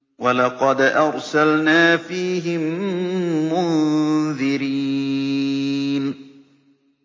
وَلَقَدْ أَرْسَلْنَا فِيهِم مُّنذِرِينَ